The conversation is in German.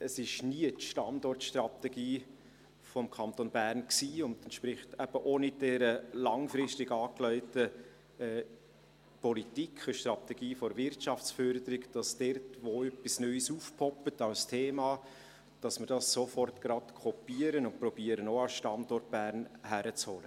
Es war nie die Standortstrategie des Kantons Bern und entspricht eben auch nicht dieser langfristig angelegten Politik der Strategie der Wirtschaftsförderung, dass wir dort, wo etwas Neues als Thema aufpoppt, das sofort kopieren und auch an den Standort Bern zu holen versuchen.